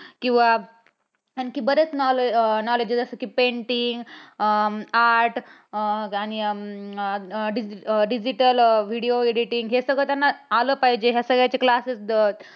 किंवा आणखी बरेच knowledge knowledge असतात कि painting, अं painting अं art आणि अं digital video editing हे सगळं त्यांना आलं पाहिजे या सगळ्यांचे classes